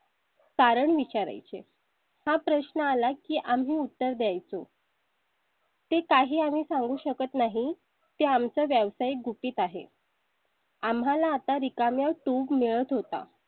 कारण विचाराय चे हा प्रश्न आला की आम्ही उत्तर द्यायचं . ते काही आम्ही सांगू शकत नाही ते आम चा व्यवसाय गुपित आहे . आम्हाला आता रिकामे tube मिळत होता.